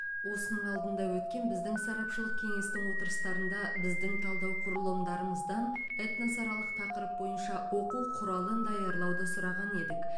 осының алдында өткен біздің сарапшылық кеңестің отырыстарында біздің талдау құрылымдарымыздан этносаралық тақырып бойынша оқу құралын даярлауды сұраған едік